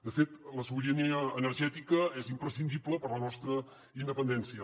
de fet la sobirania energètica és imprescindible per a la nostra independència